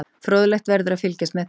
Fróðlegt verður að fylgjast með því.